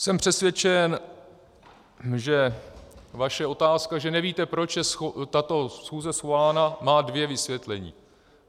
Jsem přesvědčen, že vaše otázka, že nevíte, proč je tato schůze svolána, má dvě vysvětlení.